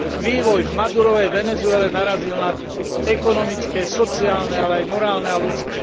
Vývoj v Madurovej Venezuele narazil na dno ekonomické, sociálne, ale aj morálne a ľudské.